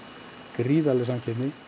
gríðarleg samkeppni